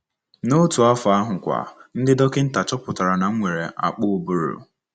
N’otu afọ ahụkwa, ndị dọkịnta chọpụtara na m nwere akpụ ụbụrụ.